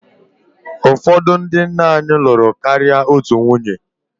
Ụfọdụ ndị nna nna anyị lụrụ karịa otu nwunye